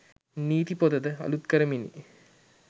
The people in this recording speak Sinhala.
නීති පොතද අලූත් කරමිනි